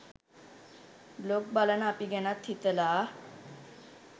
blog බලන අපි ගැනත් හිතලා